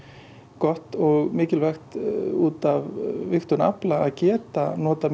gott og mikilvægt út af vigtun afla að geta notað